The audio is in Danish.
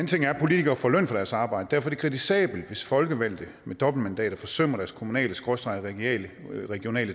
ting er at politikere får løn for deres arbejde derfor er det kritisabelt hvis folkevalgte med dobbeltmandater forsømmer deres kommunaleregionale